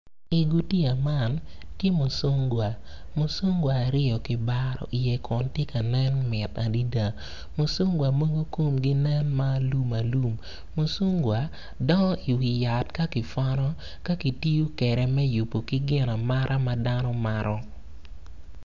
Igutiya man tye mucungwa mucungwa aryo kibaro iye kun tye ka nen mit adada mucungwa mogo komgi nen ma alumalum mucungwa dongo iwi yat ka kipwono ka kitiyo kwede me yubo ki gin amata ma dano mato.